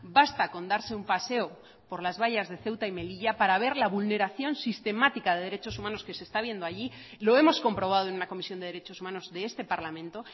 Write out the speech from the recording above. basta con darse un paseo por las vallas de ceuta y melilla para ver la vulneración sistemática de derechos humanos que se está viendo allí lo hemos comprobado en una comisión de derechos humanos de este parlamento